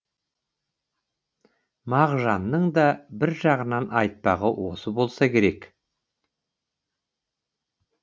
мағжанның да бір жағынан айтпағы осы болса керек